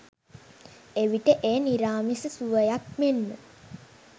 එවිට එය නිරාමිස සුවයක් මෙන්ම